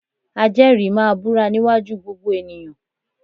Ajẹ́rìí máa búra níwájú gbogbo ènìyàn